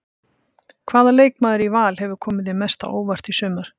Hvaða leikmaður í Val hefur komið þér mest á óvart í sumar?